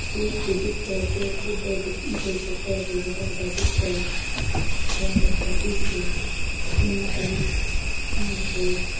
दूब सी दिखे पेड़ पौधा है भट कोई छोटा है कोई बड़ा बड़ा दिखे है हरियाली सा दिख री ऐना कोई खम्भों सो दिखे --